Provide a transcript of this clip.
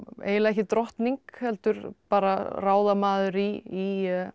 eiginlega ekki drottning heldur bara ráðamaður í